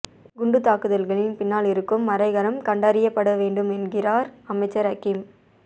குண்டுத் தாக்குதல்களின் பின்னால் இருக்கும் மறைகரம் கண்டறியப்படவேண்டும் என்கிறார் அமைச்சர் ஹக்கீம்